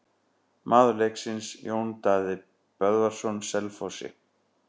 Maður leiksins: Jón Daði Böðvarsson Selfossi.